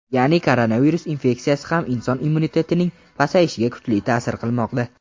ya’ni koronavirus infeksiyasi ham inson immunitetining pasayishiga kuchli ta’sir qilmoqda.